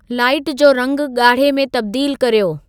light जो रंगु ॻाढ़े में तब्दीलु कर्यो